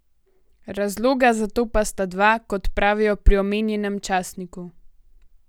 Razloga za to pa sta dva, kot pravijo pri omenjenem časniku.